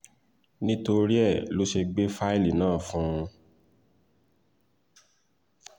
nítorí ẹ lọ ṣe gbé fáìlì náà fún un